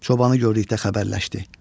Çobanı gördükdə xəbərləşdi.